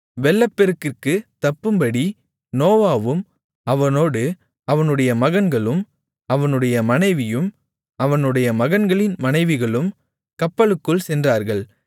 வெள்ளப்பெருக்கிற்குத் தப்பும்படி நோவாவும் அவனோடு அவனுடைய மகன்களும் அவனுடைய மனைவியும் அவனுடைய மகன்களின் மனைவிகளும் கப்பலுக்குள் சென்றார்கள்